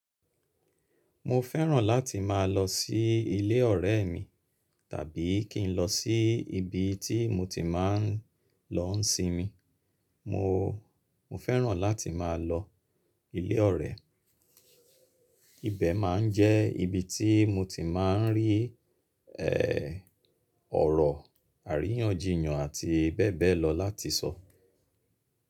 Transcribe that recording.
Mo fẹ́ràn láti má a lọ sí ilé ọ̀rẹ́ mi tàbí kí n lọ sí ibi tí mo ti máa n lọ ń sinmi. Mo, mo fẹ́ràn láti má a lọ ilé ọ̀rẹ́. Ibẹ̀ má a ń jẹ́ ibi tí mo ti má a ń rí ẹ́ ọ̀rọ̀ àríyànjiyàn àti bẹ́ẹ̀ bẹ́ẹ̀ lọ láti sọ.